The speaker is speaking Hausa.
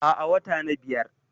Aa, Watana biyar